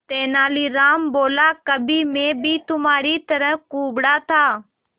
तेनालीराम बोला कभी मैं भी तुम्हारी तरह कुबड़ा था